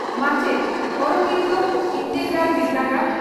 ᱢᱟᱪᱮᱛ ᱺ ᱚᱨᱚᱵᱤᱱᱫᱚ ᱤᱱᱴᱮᱜᱨᱟᱞ ᱵᱤᱨᱫᱟᱹᱜᱟᱲ